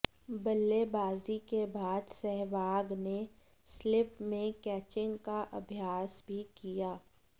बल्लेबाजी के बाद सहवाग ने स्लिप में कैचिंग का अभ्यास भी किया